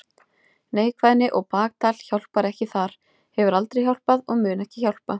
Neikvæðni og baktal hjálpar ekki þar, hefur aldrei hjálpað og mun ekki hjálpa.